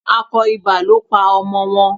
Akọ ibà ló pa ọmọ wọn.